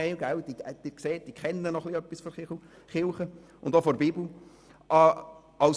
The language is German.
Übrigens ist «Schiffstau» die richtige Übersetzung, nicht «Kamel».